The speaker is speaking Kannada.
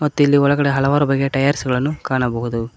ಮತ್ತಿಲ್ಲಿ ಒಳಗಡೆ ಹಲವಾರು ಬಗೆಯ ಟೈಯರ್ಸ್ ಗಳನ್ನು ಕಾಣಬಹುದು.